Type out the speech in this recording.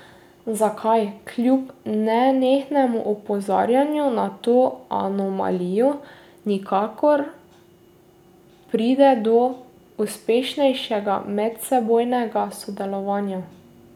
Zakaj, kljub nenehnemu opozarjanju na to anomalijo, nikakor pride do uspešnejšega medsebojnega sodelovanja?